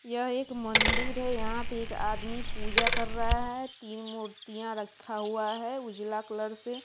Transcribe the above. यह एक मंदिर है यहां पे एक आदमी पूजा कर रहा है तीन मूर्तियां रखा हुआ है उजला कलर से।